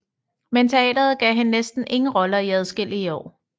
Men teateret gav hende næsten ingen roller i adskillige år